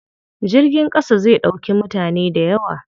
Jirgin ƙasa zai ɗauki mutane dayawa.